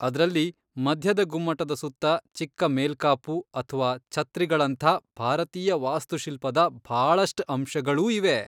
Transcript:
ಅದ್ರಲ್ಲಿ ಮಧ್ಯದ ಗುಮ್ಮಟದ ಸುತ್ತ ಚಿಕ್ಕ ಮೇಲ್ಕಾಪು ಅಥ್ವಾ ಛತ್ರಿಗಳಂಥಾ ಭಾರತೀಯ ವಾಸ್ತುಶಿಲ್ಪದ ಭಾಳಷ್ಟ್ ಅಂಶಗಳೂ ಇವೆ.